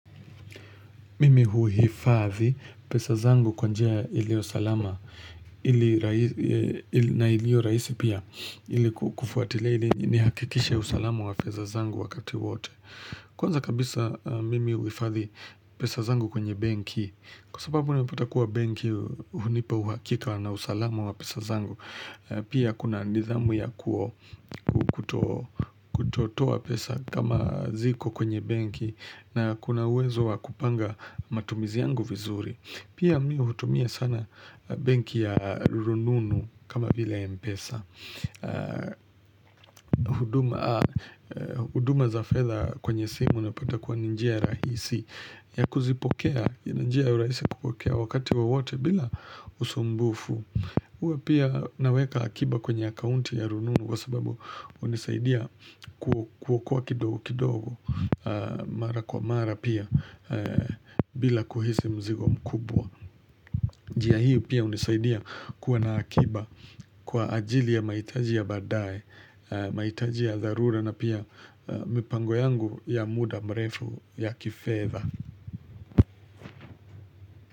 Mimi huhifadhi pesa zangu kwa njia iliyo salama na iliyo rahisi pia ili kufuatilia ili nihakikisha usalama wa pesa zangu wakati wote Kwanza kabisa mimi huhifadhi pesa zangu kwenye bank. Kwa sababu unapata kuwa banki hunipa uhakika na usalama wa pesa zangu Pia kuna nidhamu ya kuo kutotoa pesa kama ziko kwenye banki na kuna uwezo wa kupanga matumizi yangu vizuri Pia mi hutumia sana banki ya rununu kama vile mpesa huduma za fedha kwenye simu unapata kuwa ni njia rahisi ya kuzipokea, ni njia ya urahisi kupokea wakati wowote bila usumbufu uwe pia naweka akiba kwenye kaunti ya rununu kwa sababu hunisaidia kuwa kuwa kidogo kidogo mara kwa mara pia bila kuhisi mzigo mkubwa. Njia hii pia hunisaidia kuwa na akiba kwa ajili ya mahitaji ya baadaye, mahitaji ya dharura na pia mipango yangu ya muda mrefu ya kifedha.